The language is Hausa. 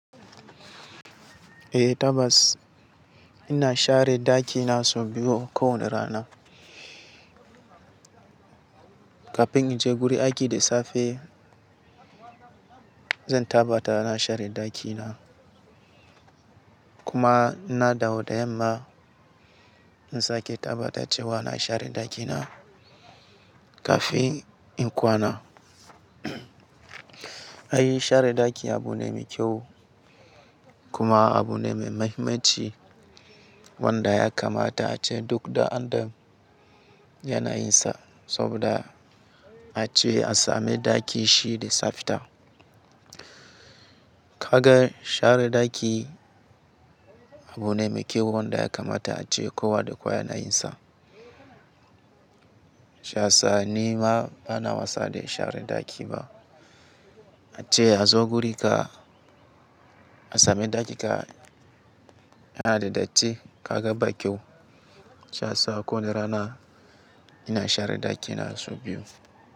Eh tabbas ina share ɗakina sau biyu kowane rana. Kafin in je gurin aiki da safe zan tabbata na share ɗakina kuma na dawo da yamma in sake tabbata cewa na share ɗakina kafin in kwana. Ai share ɗaki abu ne mai kyau kuma abu ne mai muhimmanci wanda ya kamata ace duk ɗan'adam yana yin sa saboda ace a sami ɗaki shi da tsafta. Kaga share ɗaki abu ne mai kyau wanda ya kamata ace kowa da kowa yana yin sa. Shiya sa ni ma bana wasa da share ɗaki ba. Ace a zo guri ka a sami ɗaki ka yana da datti kaga ba kyau. Shiya sa kowane rana ina share ɗakina sau biyu.